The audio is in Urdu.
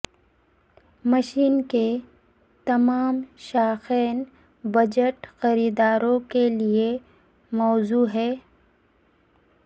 مشین کے تمام شائقین بجٹ خریداروں کے لئے موزوں ہے